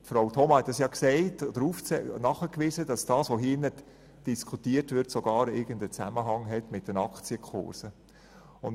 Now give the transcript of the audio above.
Frau Thoma hat darauf hingewiesen, dass alles hier Diskutierte irgendeinen Zusammenhang mit den Aktienkursen hat.